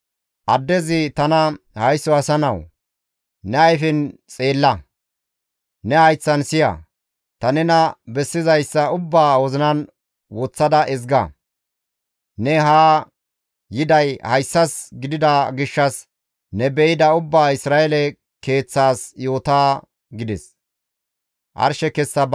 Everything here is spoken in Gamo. Addezi tana, «Haysso asa nawu! Ne ayfen xeella; ne hayththan siya; ta nena bessizayssa ubbaa wozinan woththada ezga. Ne haa yiday hayssas gidida gishshas ne be7ida ubbaa Isra7eele keeththas yoota» gides.